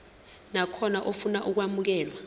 nakhona ofuna ukwamukelwa